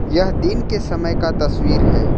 यह दिन के समय का तस्वीर है।